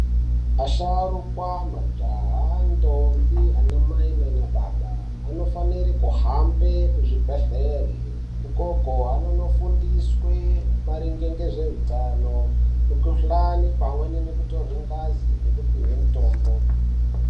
Asharukwa, majaha, ndombi, anamai naanababa vanofanire kuhambe kuzvibhedhlera ukoko kwavanofundiswa maringe ngezveutano, mukhuhlani pamwe nekutorwa ngazi nekupuwe mitombo.